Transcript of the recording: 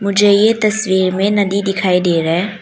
मुझे ये तस्वीर में नदी दिखाई दे रहा है।